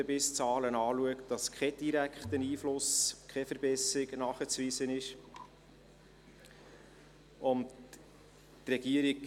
Sie sieht aber auch, dass kein direkter Einfluss, keine Verbesserung nachzuweisen ist, wenn man die Hundebisszahlen betrachtet.